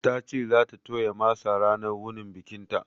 Ta ce za ta toya masa ranar wunin bikinta